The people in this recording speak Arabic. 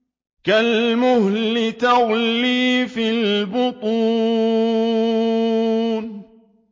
كَالْمُهْلِ يَغْلِي فِي الْبُطُونِ